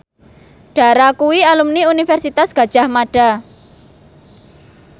Dara kuwi alumni Universitas Gadjah Mada